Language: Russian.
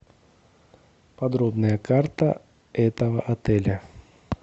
подробная карта этого отеля